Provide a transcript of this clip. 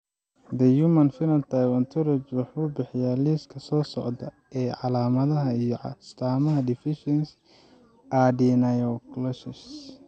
The Human Phenotype Ontology wuxuu bixiyaa liiska soo socda ee calaamadaha iyo astaamaha deficiency Adenylosuccinase.